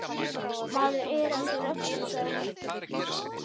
Maður er á þessu rölti, sagði hún.